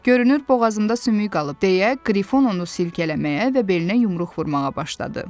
Görünür boğazımda sümük qalıb deyə Qrifon onu silkələməyə və belinə yumruq vurmağa başladı.